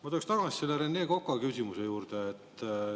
Ma tuleks tagasi Rene Koka küsimuse juurde.